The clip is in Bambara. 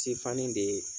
Sifanni de